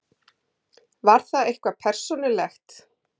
Var það eitthvað persónulegt?